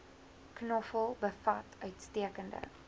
knoffel bevat uitstekende